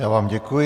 Já vám děkuji.